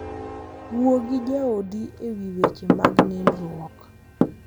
Wuo gi jaodi e wi weche mag nindruok.